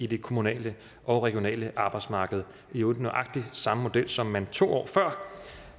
det kommunale og regionale arbejdsmarked i øvrigt nøjagtig samme model som man to år før